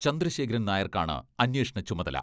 ചന്ദ്രശേഖരൻ നായർക്കാണ് അന്വേഷണ ചുമതല.